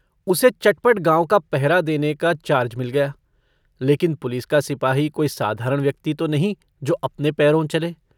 उसे चटपट गाँव का पहरा देने का चार्ज मिल गया लेकिन पुलिस का सिपाही कोई साधारण व्यक्ति तो नहीं जो अपने पैरों चले।